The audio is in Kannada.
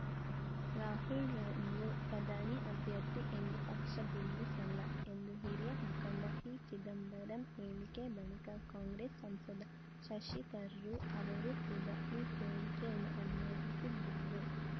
ರಾಹುಲ್‌ರನ್ನು ಪ್ರಧಾನಿ ಅಭ್ಯರ್ಥಿ ಎಂದು ಪಕ್ಷ ಬಿಂಬಿಸಲ್ಲ ಎಂದು ಹಿರಿಯ ಮುಖಂಡ ಪಿಚಿದಂಬರಂ ಹೇಳಿಕೆಯ ಬಳಿಕ ಕಾಂಗ್ರೆಸ್‌ ಸಂಸದ ಶಶಿ ತರೂರ್‌ ಅವರು ಕೂಡ ಈ ಹೇಳಿಕೆಯನ್ನು ಅನುಮೋದಿಸಿದ್ದಾರೆ